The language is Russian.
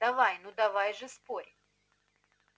давай ну давай же спорь